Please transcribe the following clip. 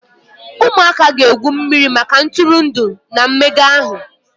Ụmụaka ga-egwu mmiri maka ntụrụndụ na mmega ahụ.